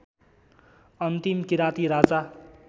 अन्तिम किराँती राजा